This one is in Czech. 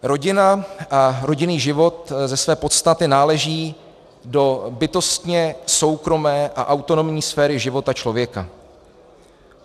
Rodina a rodinný život ze své podstaty náleží do bytostně soukromé a autonomní sféry života člověka.